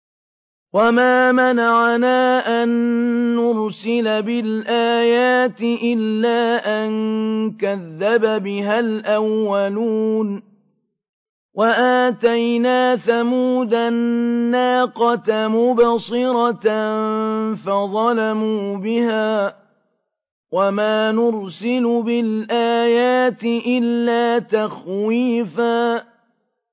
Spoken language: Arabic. وَمَا مَنَعَنَا أَن نُّرْسِلَ بِالْآيَاتِ إِلَّا أَن كَذَّبَ بِهَا الْأَوَّلُونَ ۚ وَآتَيْنَا ثَمُودَ النَّاقَةَ مُبْصِرَةً فَظَلَمُوا بِهَا ۚ وَمَا نُرْسِلُ بِالْآيَاتِ إِلَّا تَخْوِيفًا